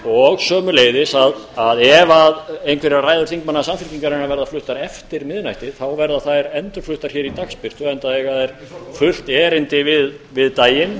og sömuleiðis að ef einhverjar ræður þingmanna samfylkingarinnar verða fluttar eftir miðnætti verða þær endurfluttar hér í dagsbirtu enda eiga þær fullt erindi við daginn